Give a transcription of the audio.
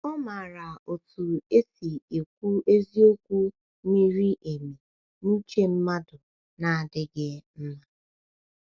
Ọ maara otu esi ekwu eziokwu miri emi n’uche mmadụ na-adịghị mma.